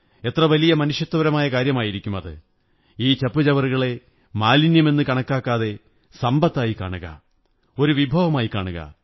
എത്ര വലിയ മനുഷ്യത്വപരമായ കാര്യമായിരിക്കും ഈ ചപ്പുചവറുകളെ മാലിന്യമെന്നു കണക്കാക്കാതെ സമ്പത്തായി കാണുക ഒരു വിഭവമായി കാണുക